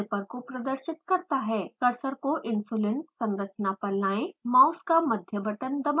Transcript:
cursor को insulin संरचना पर लायें: माउस का मध्य बटन दबाएँ